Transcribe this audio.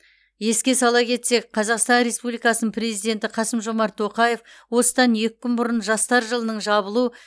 еске сала кетсек қазақстан республикасының президенті қасым жомарт тоқаев осыдан екі күн бұрын жастар жылының жабылу